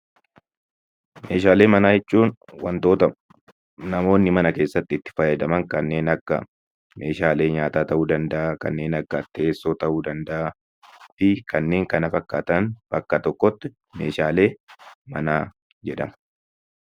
Meeshaalee manaa jechuun wantoota namoonni mana keessatti itti fayyadaman kanneen akka meeshaalee nyaataa ta'uu danda'aa, kanneen akka teessoo ta'uu danda'aa fi kanneen kana fakkaatan bakka tokkotti 'Meeshaalee manaa' jedhamu.